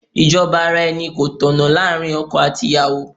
Ìjọba ara-ẹni kò tọ̀nà láàárín ọkọ àti ìyàwó.